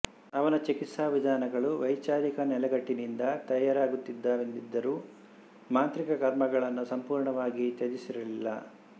ಅವನ ಚಿಕಿತ್ಸಾ ವಿಧಾನಗಳು ವೈಚಾರಿಕ ನೆಲೆಗಟ್ಟಿನಿಂದ ತಯಾರಾಗುತ್ತಿದ್ದ ವೆಂದಿದ್ದರೂ ಮಾಂತ್ರಿಕ ಕರ್ಮಗಳನ್ನು ಸಂಪೂರ್ಣವಾಗಿ ತ್ಯಜಿಸಿರಲಿಲ್ಲಾ